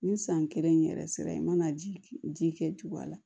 Ni san kelen in yɛrɛ sera i mana ji ji kɛ tugun a la